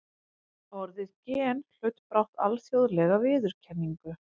Orðið gen hlaut brátt alþjóðlega viðurkenningu.